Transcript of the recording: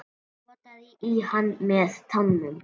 Potaði í hann með tánum.